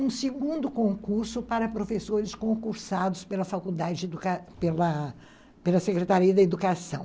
um segundo concurso para professores concursados pela pela pela Secretaria da Educação.